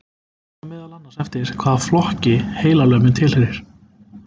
Fer það meðal annars eftir hvaða flokki heilalömunin tilheyrir.